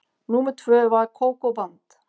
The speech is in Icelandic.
Númer tvö var Kókó-band.